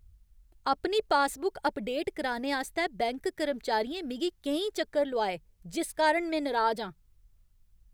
अपनी passbook update कराने आस्तै बैंक कर्मचारियें मिगी केईं चक्कर लोआए जिस कारण में नराज आं।